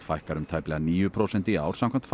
fækkar um tæplega níu prósent í ár samkvæmt